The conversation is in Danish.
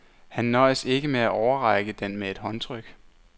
Han nøjes ikke med at overrække den med et håndtryk.